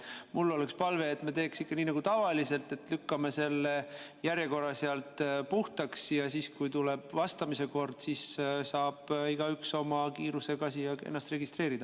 Mul oleks palve, et me teeks ikka nii nagu tavaliselt, et lükkame selle järjekorra puhtaks ja siis, kui tuleb vastamise kord, saab igaüks oma kiirusega ennast registreerida.